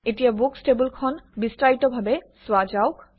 এতিয়া বুকচ্ টেবুলখন পুংখানুপুংখভাৱে চোৱা যাওক